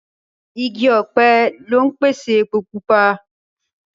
Igi ọ̀pẹ lọ ń pèsè epo Pupa